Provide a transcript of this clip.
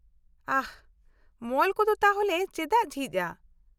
-ᱟᱦ ! ᱢᱚᱞ ᱠᱚᱫᱚ ᱛᱟᱦᱚᱞᱮ ᱪᱮᱫᱟᱜ ᱡᱷᱤᱡ ᱟ ?